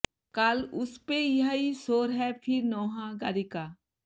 কাল উস পে ইয়াহি শোর হ্যায় ফির নওহাগারি কা